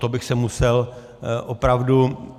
To bych se musel opravdu...